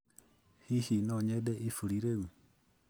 Hihi no nyende iburi rĩu?